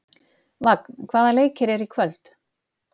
Vagn, hvaða leikir eru í kvöld?